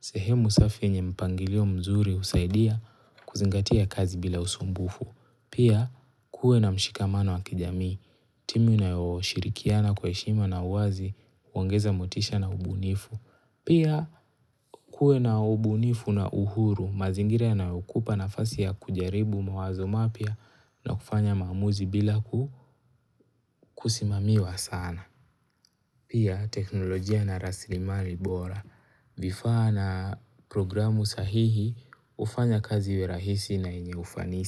Sehemu safi yenye mpangilio mzuri husaidia kuzingatia kazi bila usumbufu. Pia, kuwe na mshikamano wa kijamii. Timu inayoshirikiana kwa heshima na uwazi, huongeza motisha na ubunifu. Pia kuwe na ubunifu na uhuru mazingira yanayokupa nafasi ya kujaribu mawazo mapya na kufanya maamuzi bila kusimamiwa sana. Pia teknolojia na raslimali bora vifaa na programu sahihi hufanya kazi iwe rahisi na yenye ufanisi.